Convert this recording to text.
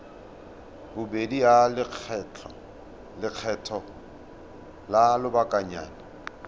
bobedi ya lekgetho la lobakanyana